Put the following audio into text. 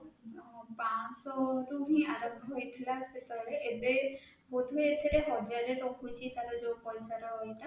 ପାଞ୍ଚ ଶହ ରୁ ହିଁ ଆରମ୍ଭ ହୋଇଥିଲା ସେତବେଳେ ଏବେ ବୋଧ ହୁଏ ସେଟା ହଜାରେ ରଖୁଛି ତାର ଯୋଉ ପଇସା ର ଇଏ ଟା